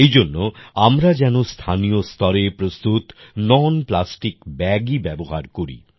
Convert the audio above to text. এইজন্য আমরা যেনো স্থানীয় স্তরে প্রস্তুত ননপ্লাস্টিক ব্যাগেই ব্যবহার করি